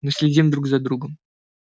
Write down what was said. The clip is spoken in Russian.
мы следим друг за другом